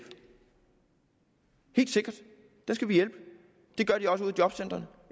helt sikkert det gør de også ude i jobcentrene